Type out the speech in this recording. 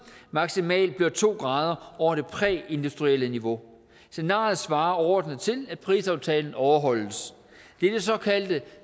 maksimalt bliver to grader over det præindustrielle niveau scenariet svarer overordnet til at prisaftalen overholdes det er det såkaldte